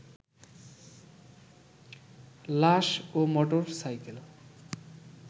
লাশ ও motor cycle